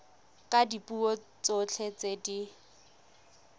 ka dipuo tsotlhe tse di